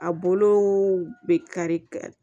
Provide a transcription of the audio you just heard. A bolo bɛ kari